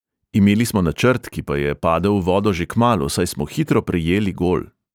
Imeli smo načrt, ki pa je padel v vodo že kmalu, saj smo hitro prejeli gol.